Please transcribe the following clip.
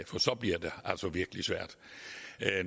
for så bliver det altså virkelig svært